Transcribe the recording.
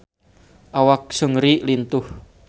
Awak Seungri lintuh